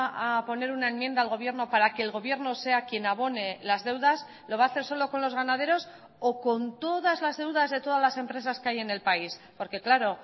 a poner una enmienda al gobierno para que el gobierno sea quien abone las deudas lo va a hacer solo con los ganaderos o con todas las deudas de todas las empresas que hay en el país porque claro